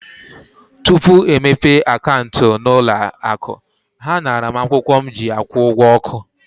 Tupu e mepee akaụntụ n'ụlọ akụ, ha naara m akwụkwọ m ji akwụ ụgwọ ọkụ.